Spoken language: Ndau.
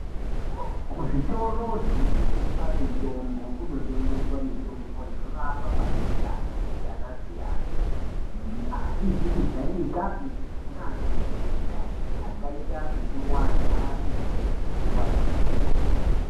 Kuzvitoro zvinortengesa mitombo kunotengeswa mitombo inorapa matenda akasiyana-siyana. Asizi kujairikapi neakajairika akaita sekurwadza nekutwadza kwemusoro.